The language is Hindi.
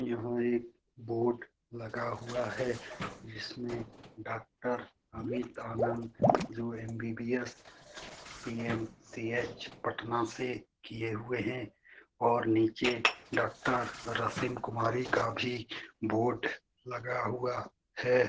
यहाँ एक बोर्ड लगा हुआ है जिसमें डॉक्टर अमित आनंद जो एम_बी_बी_एस बी_एम_सी_एच पटना से किए हुए हैं और नीचे डॉक्टर रसिन कुमारी का भी बोर्ड लगा हुआ है।